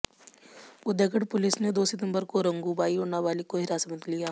उदयगढ पुलिस ने दो सितबंर को रंगूबाई और नाबालिग को हिरासत में लिया